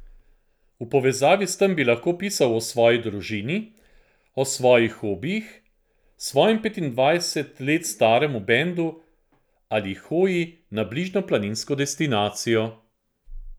V povezavi s tem bi lahko pisal o svoji družini, o svojih hobijih, svojem petindvajset let staremu bendu ali hoji na bližnjo planinsko destinacijo.